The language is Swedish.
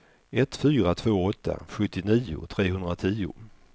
ett fyra två åtta sjuttionio trehundratio